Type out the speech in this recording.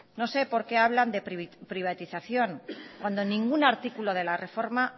no sé por qué hablan de privatización cuando en ningún artículo de la reforma